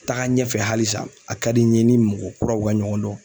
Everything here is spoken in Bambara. Taga ɲɛfɛ halisa a ka di n ye n ni mɔgɔ kuraw ka ɲɔgɔn dɔn.